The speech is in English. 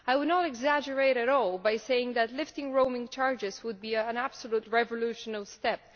I would not exaggerate at all by saying that lifting roaming charges would be an absolutely revolutionary step.